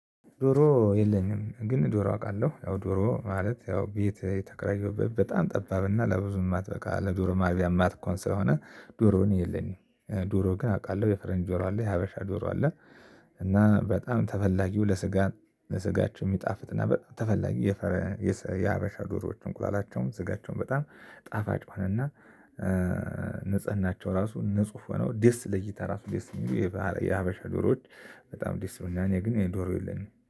ዶሮ የለኝም ግን ዶሮ አውቃለሁ። ዶሮ ማለት ያው ቤት የተከራየሁበት በጣም ጠባብና ለብዙ የማትበቃ ለዶሮ ማርቢያ ማትሆን ስለሆነ ዶሮ እኔ የለኝም። ዶሮ ግን አውቃለሁ። የፈረንጅ ጆሮ አለ። የሀበሻ ጆሮ አለ። እና በጣም ተፈላጊው ለስጋ ለስጋቸው የሚጣፍጥና በጣም ተፈላጊ- የሀበሻ ዶሮዎች እንቁላላቸውም ስጋቸውም በጣም ጣፋጭ ሆነና- ንጽህናቸው ራሱ ንጹህ ሆነው ደስ ለይታ ራሱ ደስ የሚሉ የሀበሻ ዶሮዎች በጣም ደስ ይሉኛል። እና እኔ ግን የዶሮ የለኝም።